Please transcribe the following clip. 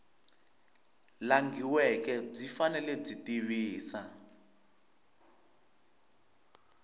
langhiweke byi fanele byi tivisa